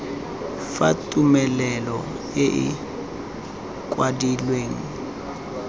fa tumelelo e e kwadilweng